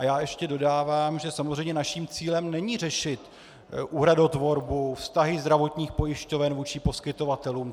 A já ještě dodávám, že samozřejmě naším cílem není řešit úhradotvorbu, vztahy zdravotních pojišťoven vůči poskytovatelům.